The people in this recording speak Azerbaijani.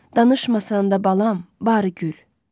Danışmasan da balam, barı gül.